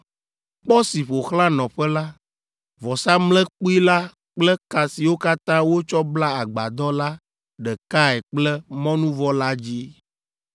kpɔ si ƒo xlã nɔƒe la, vɔsamlekpui la kple ka siwo katã wotsɔ bla agbadɔ la ɖekae kple mɔnuvɔ la dzi.